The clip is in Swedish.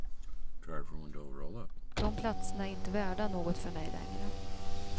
De platserna är inte värda något för mig längre.